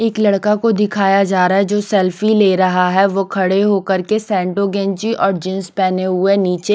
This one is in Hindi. एक लड़का को दिखाया जा रहा है जो सेल्फी ले रहा है वो खड़े होकर के सैंटोगेंजी और जींस पहने हुए नीचे--